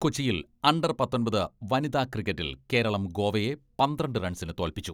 കൊച്ചിയിൽ അണ്ടർ പത്തൊമ്പത് വനിതാ ക്രിക്കറ്റിൽ കേരളം ഗോവയെ പന്ത്രണ്ട് റൺസിന് തോൽപ്പിച്ചു.